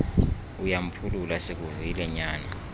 uyamphulula sikuvile nyana